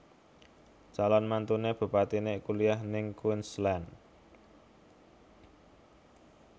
Calon mantune bupatine kuliah ning Queensland